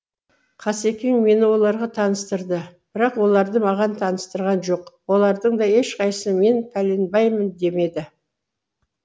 қаскең мені оларға таныстырды бірақ оларды маған таныстырған жоқ олардың да ешқайсысы мен пәленбаймын демеді